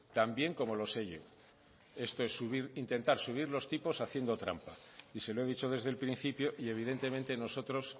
también como lo sé yo esto es intentar subir los tipos haciendo trampa y se lo he dicho desde el principio y evidentemente nosotros